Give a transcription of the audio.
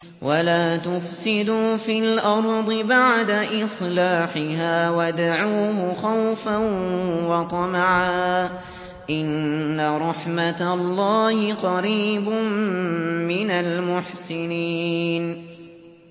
وَلَا تُفْسِدُوا فِي الْأَرْضِ بَعْدَ إِصْلَاحِهَا وَادْعُوهُ خَوْفًا وَطَمَعًا ۚ إِنَّ رَحْمَتَ اللَّهِ قَرِيبٌ مِّنَ الْمُحْسِنِينَ